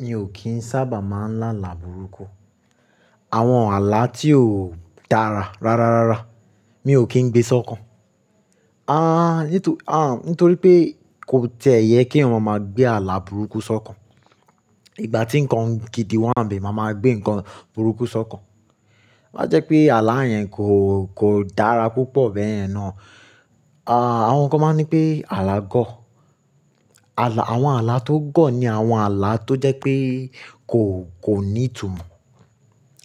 Mi ò kín sábà máa ń lá àlà burúkú. Àwọn àlà tí ó dára rárárárá mi ò kín gbé sọ́kàn. Ah, nítorí pé kò tiẹ́ yẹ kí eeyan máa gbé àlà burúkú sọ́kàn. Ìgbà tí nǹkan gidi wáǹ be, máa ma gbé nǹkan burúkú sọ́kàn. Má jẹ́ pé àlà yẹn kò, kò dára púpọ̀ bẹ́ẹ̀ ye ná. Àwọn kan máa ń nipé àlà gọ̀. Àwọn àlà tó gọ̀ ni àwọn àlà tó jẹ́ pé kò, kò ní ìtumọ̀.